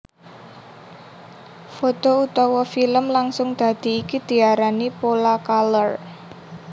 Foto utawa filem langsung dadi iki diarani Polacolor